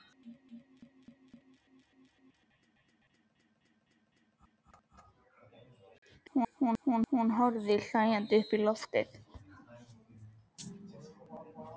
Hún horfði hlæjandi upp í loftið.